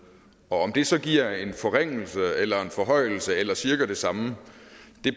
om det så giver en forringelse eller en forhøjelse eller cirka det samme